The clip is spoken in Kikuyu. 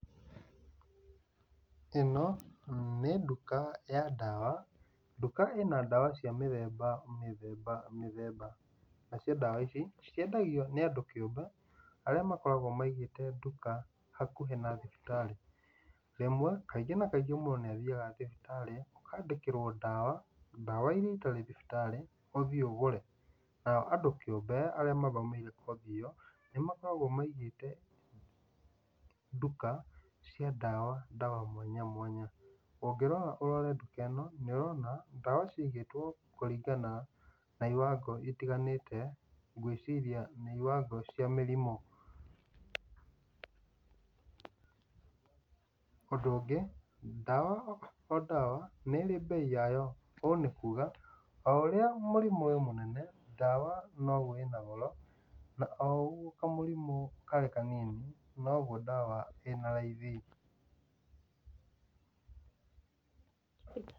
Ĩno, nĩ nduka ya ndawa, nduka ĩ na ndawa cia mĩthemba mĩthemba mĩthemba. Nacio ndawa ici, ciendagio nĩ andũ kĩumbe, arĩa makoragwo maigĩte nduka hakuhĩ na thibitarĩ. Rĩmwe, kaingĩ na kaingĩ mũndũ nĩathiaga thibitarĩ, ũkandĩkĩrwo ndawa, ndawa irĩa itarĩ thibitarĩ, ũthiĩ ũgũre. Nao andũ kĩumbe, arĩa mathomeire kothi ĩyo, nĩmakoragwo maigĩte nduka, cia ndawa, ndawa mwanya mwanya. Ũngĩrora, ũrore bica ĩno, nĩũrona ndawa ciigĩtwo kũringana na iwango citiganĩte, ngwĩciria nĩ iwango cia mĩrimũ. Ũndũ ũngĩ, ndawa o ndawa nĩirĩ bei o yayo. Ũũ nĩ kuga, o ũrĩa mũrmũ wĩ mũnene, ndawa noguo ĩ na goro, na o ũrĩa kamũrimũ ge kanini, noguo ndawa ĩ na raithi.